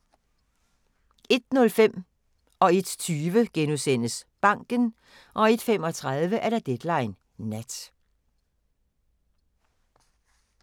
01:05: Banken * 01:20: Banken * 01:35: Deadline Nat